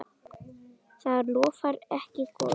Það lofar ekki góðu.